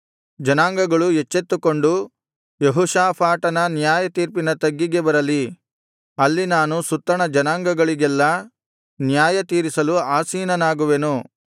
ಜನಾಂಗಗಳು ಎಚ್ಚೆತ್ತುಕೊಂಡು ಯೆಹೋಷಾಫಾಟನ ನ್ಯಾಯತೀರ್ಪಿನ ತಗ್ಗಿಗೆ ಬರಲಿ ಅಲ್ಲಿ ನಾನು ಸುತ್ತಣ ಜನಾಂಗಗಳಿಗೆಲ್ಲಾ ನ್ಯಾಯತೀರಿಸಲು ಆಸೀನನಾಗುವೆನು